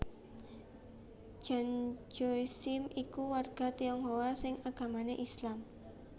Tjan Tjoe Siem iku warga Tionghoa sing agamané Islam